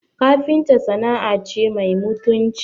Kafinta sana'a ce mai mutunci